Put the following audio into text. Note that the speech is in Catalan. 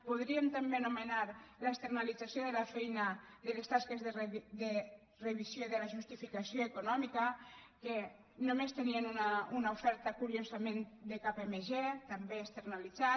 podríem també anomenar l’externalització de la feina de les tasques de revisió de la justificació econòmica en què només tenien una oferta curiosament de kpmg també externalitzat